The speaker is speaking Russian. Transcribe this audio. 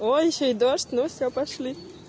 о ещё и дождь ну все пошли